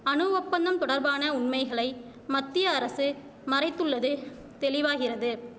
அணு ஒப்பந்தம் தொடர்பான உண்மைகளை மத்திய அரசு மறைத்துள்ளது தெளிவாகிறது